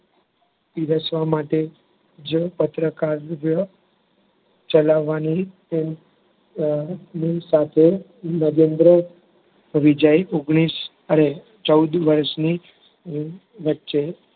પીરસવા માટે જ પત્રકાર ચલાવવાની અર નીમ સાથે નગેન્દ્ર વિજય ઓગણીસ અર ચૌદ વર્ષની વચ્ચે